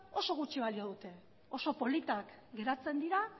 oso gutxi balio dute oso politak geratzen dira